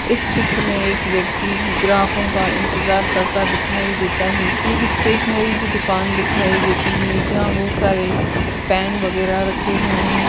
इस चित्र में एक व्यक्ति ग्राहकों का इंतजार करता दिखाई देता है एक स्टैसनरी की दुकान दिखाई देती है जहां बहौत सारे पैन वगेहरा रखे हुए हैं।